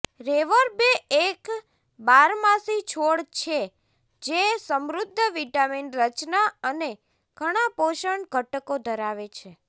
reverb એક બારમાસી છોડ છે જે સમૃદ્ધ વિટામિન રચના અને ઘણાં પોષક ઘટકો ધરાવે છે